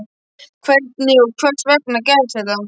Hvernig og hvers vegna gerðist þetta?